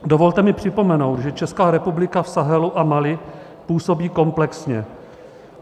Dovolte mi připomenout, že Česká republika v Sahelu a Mali působí komplexně.